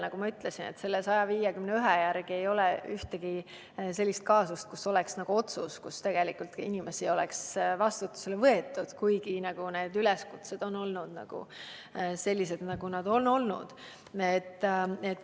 Nagu ma ütlesin, ei ole §-ga 151 seotud ühtegi kaasust, mille korral oleks tehtud otsus võtta inimene vastutusele, kuigi need üleskutsed on olnud sellised, nagu nad on olnud.